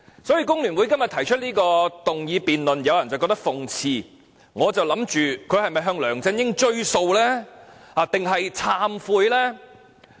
所以，工聯會今天提出這項議案，有人覺得諷刺；我則想不透它是否想向梁振英追數，還是要懺悔呢？